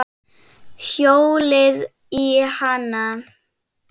Hjólið í hana.